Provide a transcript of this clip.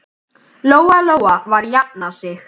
Lóa-Lóa var að jafna sig.